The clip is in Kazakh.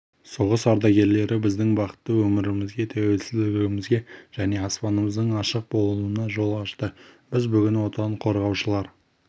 соғыс ардагерлері біздің бақытты өмірімізге тәуелсіздігімізге және аспанымыздың ашық болуына жол ашты біз бүгін отан қорғаушылар